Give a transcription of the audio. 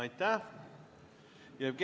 Aitäh!